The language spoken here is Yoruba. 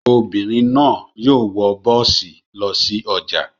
Obìnrin náà yóò wọ bọ́ọ́sì lọ sí ọjà.